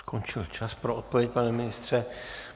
Skončil čas pro odpověď, pane ministře.